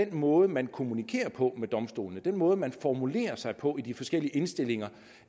måde man kommunikerer på med domstolene den måde man formulerer sig på i de forskellige indstillinger